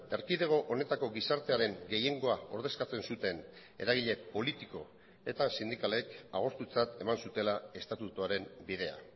erkidego honetako gizartearen gehiengoa ordezkatzen zuten eragile politiko eta sindikalek agortutzat eman zutela estatutuaren bidea